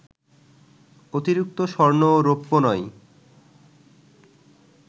অতিরিক্ত স্বর্ণ ও রৌপ্য নয়